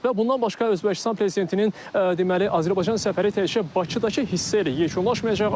Və bundan başqa Özbəkistan prezidentinin deməli Azərbaycan səfəri təkcə Bakıdakı hissəyə yekunlaşmayacaq.